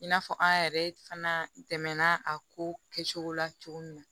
I n'a fɔ an yɛrɛ fana dɛmɛna a ko kɛcogo la cogo min na